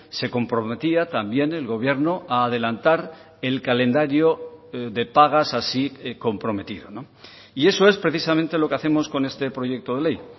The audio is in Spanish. se comprometía también el gobierno a adelantar el calendario de pagas así comprometido y eso es precisamente lo que hacemos con este proyecto de ley